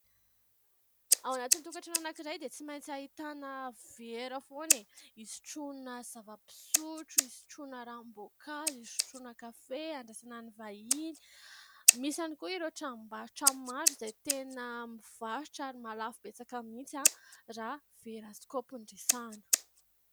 Ao anatin'ny tokantrano anankiray dia tsy maintsy ahitana vera foana e ! Isotroana zava-pisotro, isotroana ranom-boankazo, isotroana kafe, andraisana ny vahiny... Misy ihany koa ireo tranombarotra maro, izay tena mivarotra ary mahalafo betsaka mihitsy, raha vera kaopy no resahana.